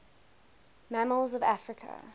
mammals of africa